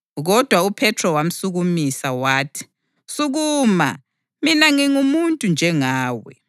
Kodwa uPhethro wamsukumisa. Wathi, “Sukuma, mina ngingumuntu nje.”